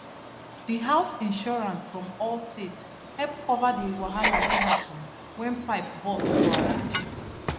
the house insurance from allstate help cover the wahala wey happen when pipe burst for her kitchen